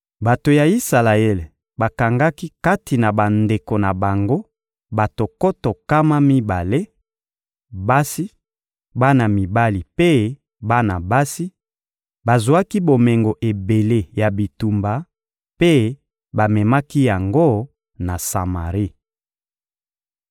Bato ya Isalaele bakangaki kati na bandeko na bango bato nkoto nkama mibale: basi, bana mibali mpe bana basi; bazwaki bomengo ebele ya bitumba mpe bamemaki yango na Samari.